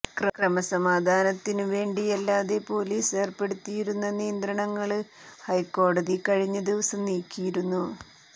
ക്രമസമാധാനത്തിനു വേണ്ടിയല്ലാതെ പൊലീസ് ഏര്പ്പെടുത്തിയിരുന്ന നിയന്ത്രണങ്ങള് ഹൈക്കോടതി കഴിഞ്ഞ ദിവസം നീക്കിയിരുന്നു